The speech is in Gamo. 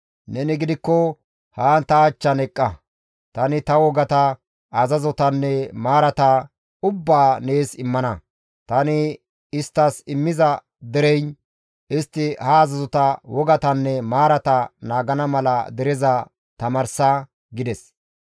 Neni gidikko haan ta achchan eqqa; tani ta wogata, azazotanne maarata ubbaa nees immana; tani isttas immiza dereyin istti ha azazota, wogatanne maarata naagana mala dereza tamaarsa› gides.